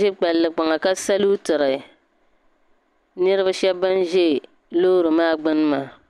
ʒe palli kpana ka salootiri ninvuɣu shɛba ban bɛ loori maa gbuni maa.